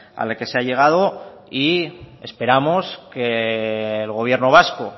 a la que se ha llegado y esperamos que el gobierno vasco